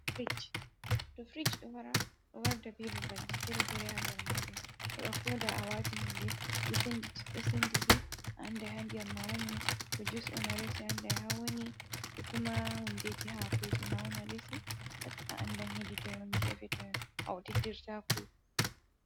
Firic, to firic ɗo wara ,ɗo warda be babalji fere-fere haa nder maajun. Heɓa koda a waati hunde ɗo sennditi ,a annda haa ndiyam ma wani to jiwus on, resi a annday haa wani ɗo kuma hundeeji hakooji ma , a andan hedi toy on geefe to awtindirtaku.